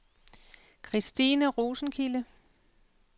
Christine Rosenkilde